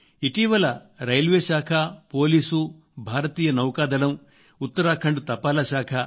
ఇటీవల రైల్వే శాఖ పోలీసు భారతీయ నౌకాదళం ఉత్తరాఖండ్ తపాలా శాఖ